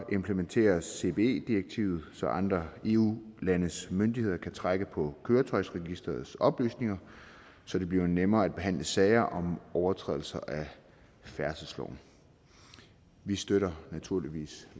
implementeres cbe direktivet så andre eu landes myndigheder kan trække på køretøjsregisterets oplysninger så det bliver nemmere at behandle sager om overtrædelse af færdselsloven vi støtter naturligvis